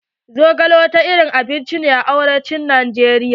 Zogale wani irin abinci ne a arewacin Najeriya.